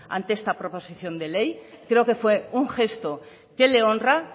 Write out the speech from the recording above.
ante esta proposición de ley creo que fue un gesto que le honra